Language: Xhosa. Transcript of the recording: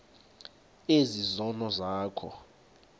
ezi zono zakho